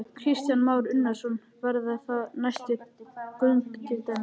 Kristján Már Unnarsson: Verða það næstu göng til dæmis?